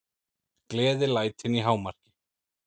Gleðilætin í hámarki.